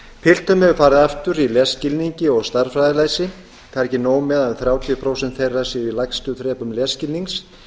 piltum hefur farið aftur í lesskilningi og stærðfræðilæsi það er ekki nóg með að þrjátíu prósent þeirra séu í lægstu þrepum lesskilnings